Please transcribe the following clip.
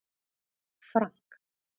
Frank